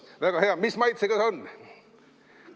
Väga hea, mis maitsega ta on?